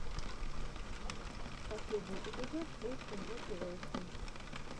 последний эпизод эйти мотивэйшен